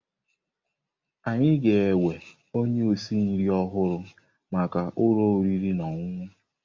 Anyị ga-ewe onye osi nri ọhụrụ maka ụlọ oriri na ọṅụṅụ.